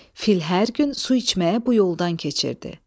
Fil hər gün su içməyə bu yoldan keçirdi.